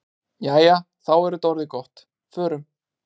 Jæja, þá er þetta orðið gott. Förum.